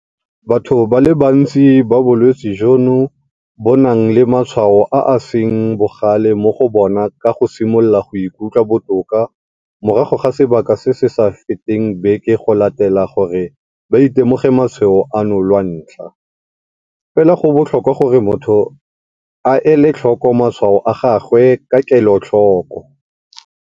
Batho ba le bantsi ba bolwetse jono bo nang le matshwao a a seng bogale mo go bona ba ka simolola go ikutlwa botoka morago ga sebaka se se sa feteng beke go latela gore ba itemogele matshwao ano lwantlha, fela go botlhokwa gore motho a ele tlhoko matshwao a gagwe ka kelotlhoko.